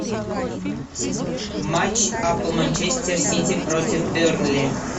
матч апл манчестер сити против бернли